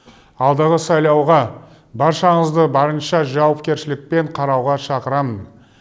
алдағы сайлауға баршаңызды барынша жауапкершілікпен қарауға шақырамын